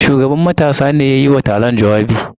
Shugaban matasa ne ya yi wa taron jawabi.